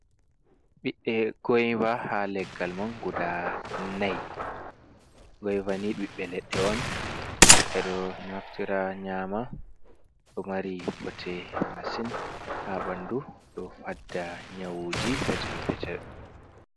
Ɓiɗɗe goyva ha leggal mum guda nay, goyvani ɓiɓɓe leɗɗe on beɗo naftira nyama, do mari bote masin ha ɓandu ɗo fadda nyawuji petel petel.